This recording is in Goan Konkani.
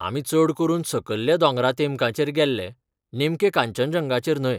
आमी चड करून सकयल्या दोंगरातेमकांचेर गेल्ले, नेमके कांचनजंगाचेर न्हय